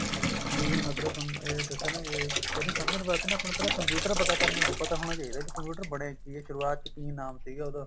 ਜਿਵੇਂ ਮਤਲਬ ਤੁਹਾਨੂੰ ਏ ਦੱਸਿਆ ਨਾ ਏ ਇਹਨੂੰ ਸਮਝਣ ਵਾਸਤੇ ਨਾ ਪਹਿਲਾਂ computer ਪਤਾ ਕਰਨਾ ਪਤਾ ਹੋਣਾ ਚਾਹੀਦਾ computer ਬਣਿਆ ਕੀ ਆ ਸ਼ੁਰਆਤ ਚ ਕੀ ਨਾਮ ਸੀਗਾ ਉਹਦਾ